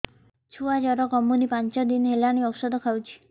ଛୁଆ ଜର କମୁନି ପାଞ୍ଚ ଦିନ ହେଲାଣି ଔଷଧ ଖାଉଛି